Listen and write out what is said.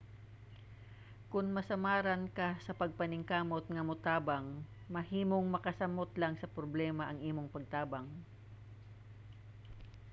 kon masamaran ka sa pagpaningkamot nga motabang mahimong makasamot lang sa problema ang imong pagtabang